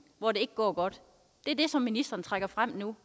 hvor det ikke går godt er det som ministeren trækker frem nu